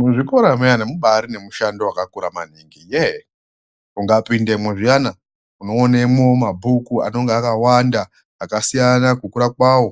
Muzvikora muyani mubaari nemushando wakakura maningi yee ukapindamwo zviyani unoone mumabhuku anenge akawanda akasiyana kukura kwavo.